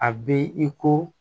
A bɛ i ko